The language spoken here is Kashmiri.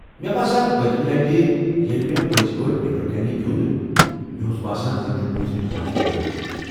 مےٚ باسان، پٔتمہِ لٹہِ ییٚلہ مےٚ پٔزۍ پٲٹھۍ نٮ۪بر کنہِ گیونٛد، مےٚ اوس باسان زَنہٕ چُھ پٲنژِمہِ جمٲژ ہُنٛد لڑکٔہ۔